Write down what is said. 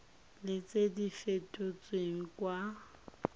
le tse di fetotsweng kwa